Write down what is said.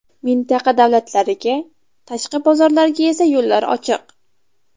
Mintaqa davlatlariga, tashqi bozorlarga esa yo‘llar ochiq.